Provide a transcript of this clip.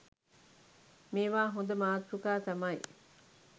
මේවා හොඳ මාතෘකා තමයි.